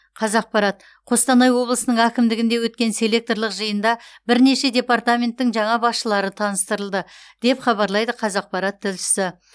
қазақпарат қостанай облысының әкімдігінде өткен селекторлық жиында бірнеше департаменттің жаңа басшылары таныстырылды деп хабарлайды қазақпарат тілшісі